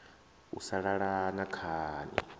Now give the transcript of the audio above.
u sa lala na khani